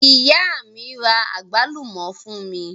Ìyá mi àgbálùmọ́ fún mi.